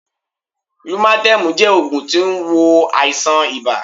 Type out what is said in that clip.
Lúmátémù jẹ́ ògùn tó n wo àìsàn ibà